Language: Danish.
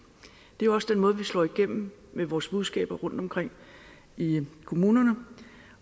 det er jo også den måde vi slår igennem med vores budskaber rundtomkring i kommunerne